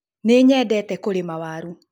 Nĩnyendete kurĩma waru